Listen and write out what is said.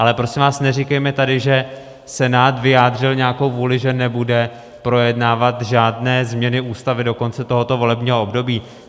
Ale prosím vás, neříkejme tady, že Senát vyjádřil nějakou vůli, že nebude projednávat žádné změny Ústavy do konce tohoto volebního období.